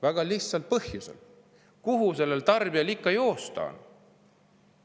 Väga lihtsal põhjusel: kuhu sellel tarbijal ikka joosta on?